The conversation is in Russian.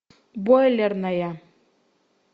бойлерная